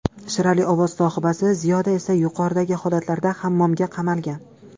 Shirali ovoz sohibasi Ziyoda esa yuqoridagi holatlarda hammomga qamalgan.